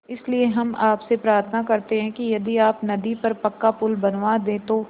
इसलिए हम आपसे प्रार्थना करते हैं कि यदि आप नदी पर पक्का पुल बनवा दे तो